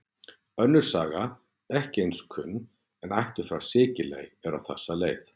Önnur saga, ekki eins kunn, en ættuð frá Sikiley, er á þessa leið: